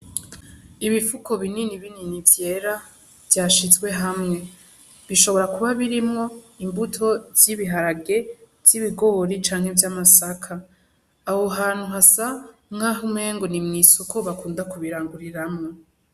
Ibifuko bininibinini vyera vyashizwe hamwe. Bishobora kuba birimwo imbuto z'ibiharage, z'ibigori canke z'amasaka. Aho hantu hasa nk'aho umenga ni mw'isoko bakunda kubiranguriramwo.